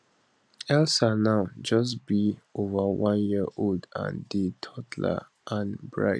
elsa now just be over one year old and dey toddle and bright